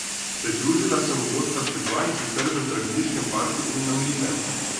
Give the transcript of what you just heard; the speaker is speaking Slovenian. Pridružila se mu bosta še dva, in sicer v Zdraviliškem parku in na Mlinem.